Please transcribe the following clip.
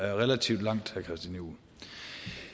det relativt langt